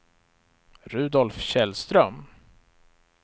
Rudolf Källström